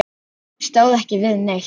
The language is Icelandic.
Óli stóð ekki við neitt.